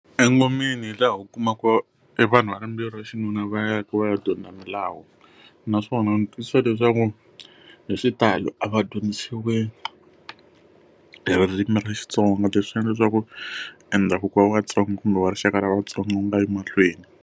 Engomeni hi laha u kumaka evanhu va rimbewu ra xinuna va ya ku va ya dyondza milawu naswona ndzi twisisa leswaku hi xitalo a va dyondzisiwi hi ririmi ra Xitsonga, leswi endla leswaku endhavuko wa vatsonga kumbe wa rixaka ra vatsonga wu nga yi emahlweni.